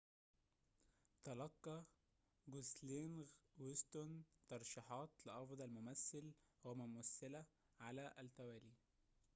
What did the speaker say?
تلقى جوسلينغ وستون ترشيحات لأفضل ممثل وممثلة على التوالي